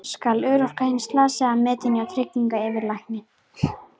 Skal örorka hins slasaða metin hjá tryggingayfirlækni.